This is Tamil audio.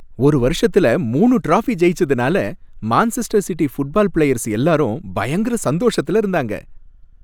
ஒரு வருஷத்துல மூணு ட்ராஃபி ஜெயிச்சதுனால மான்செஸ்டர் சிட்டி ஃபுட்பால் பிளேயர்ஸ் எல்லாரும் பயங்கர சந்தோஷத்துல இருந்தாங்க.